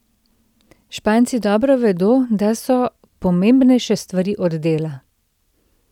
Španci dobro vedo, da so pomembnejše stvari od dela.